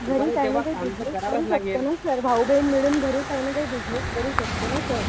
घरी काही ना काही बिजनेस करू शकतो ना. सर भाऊ बहीण मिळून काही ना काही बिजनेस करू शकतो ना सर